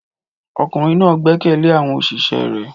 Ọkùnrin náà gbẹ́kẹ̀lé àwọn òṣìṣẹ́ rẹ̀